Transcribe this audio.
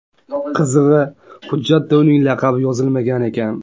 Qizig‘i, hujjatda uning laqabi yozilmagan ekan.